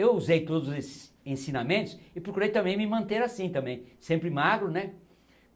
Eu usei todos esses ensinamentos e procurei também me manter assim também, sempre magro, né?